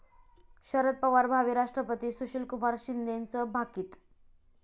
शरद पवार भावी राष्ट्रपती, सुशीलकुमार शिंदेंचं भाकीत